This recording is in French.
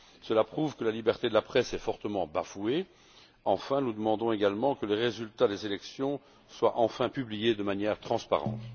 Cela prouve que la liberté de la presse est fortement bafouée. Enfin, nous demandons également que les résultats des élections soient enfin publiés de manière transparente.